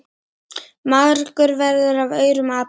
margur verður af aurum api.